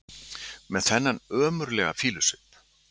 Með þennan ömurlega fýlusvip!